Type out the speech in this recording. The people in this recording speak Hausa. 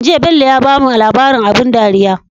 Jiya Bello ya bamu labrin abun dariya